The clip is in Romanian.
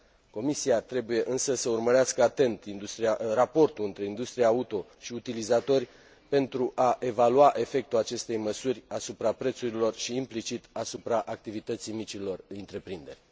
Comisia trebuie, însă, să urmărească atent raportul între industria auto și utilizatori pentru a evalua efectul acestei măsuri asupra prețurilor și, implicit, asupra activității micilor întreprinderi.